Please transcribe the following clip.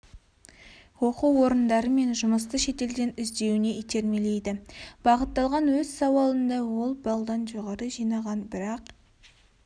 оқу орындары мен жұмысты шетелден іздеуіне итермелейді бағыттаған өз сауалында ол балдан жоғары жинаған бірақ